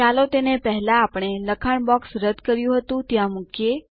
ચાલો તેને પેહલા આપણે લખાણ બોક્સ રદ કર્યું હતું ત્યાં મુકીએ